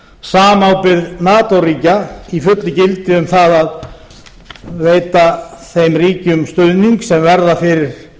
samábyrgð nato ríkja vera í fullu gildi um það að veita þeim ríkjum stuðning sem verða fyrir